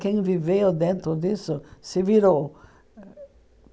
Quem viveu dentro disso se virou.